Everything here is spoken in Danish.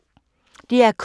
DR K